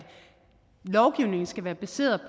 lovgivningen skal være baseret